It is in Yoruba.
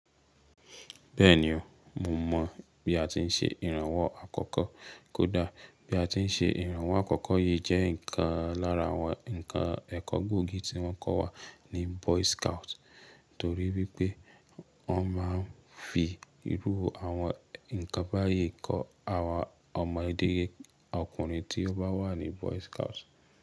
Bẹ́ẹ̀ ni o, mo mọ bí a ti ń ṣe ìrànwọ́ àkọ́kọ́. Kódà bí a ti ń ṣe ìrànwọ́ àkọ́kọ́ yìí jẹ́ ìkan lára àwọn ǹkan ẹ̀kọ́ gbòógì tí wọ́n kọ́ wa ní boy scout, torí wípé wọ́n máa ń fi irú àwọn ǹkan báyìí kọ́ àwa ọmọdé ọkùnrin tí ó bá wà ní boy scout.